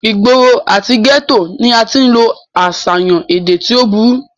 ìgboro àti gẹ́tò ni a tí ń lo àṣàyàn èdè tí ó burú